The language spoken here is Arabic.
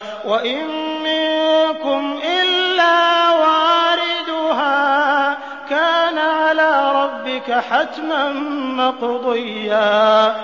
وَإِن مِّنكُمْ إِلَّا وَارِدُهَا ۚ كَانَ عَلَىٰ رَبِّكَ حَتْمًا مَّقْضِيًّا